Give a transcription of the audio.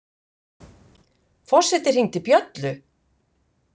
Forseti hringdi bjöllu!